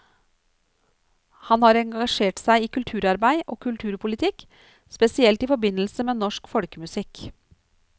Han har engasjert seg i kulturarbeid og kulturpolitikk, spesielt i forbindelse med norsk folkemusikk.